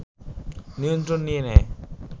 নিয়ন্ত্রণ নিয়ে নেয়